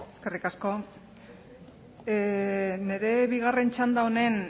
eskerrik asko nire bigarren txanda honen